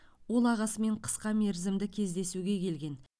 ол ағасымен қысқа мерзімді кездесуге келген